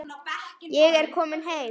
Ég er kominn heim!